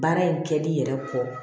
Baara in kɛli yɛrɛ kɔ